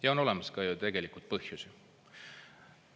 Ja selleks on ka põhjusi.